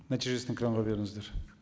нәтижесін экранға беріңіздер